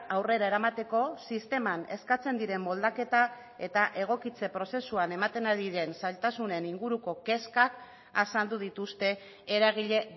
aurrera eramateko sisteman eskatzen diren moldaketa eta egokitze prozesuan ematen ari den zailtasunen inguruko kezkak azaldu dituzte eragile